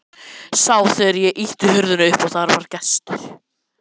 Sá þegar ég ýtti hurðinni upp að það var gestur.